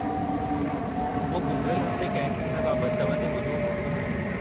मूं गुज़रियल हफ़्ते कंहिं खे हिन बाबत चवंदे ॿुधो हो।